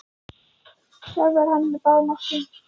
Sjálfur er hann á báðum áttum.